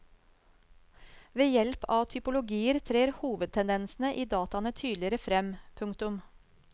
Ved hjelp av typologier trer hovedtendensene i dataene tydeligere frem. punktum